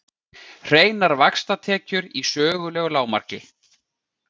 Hreinar vaxtatekjur í sögulegu lágmarki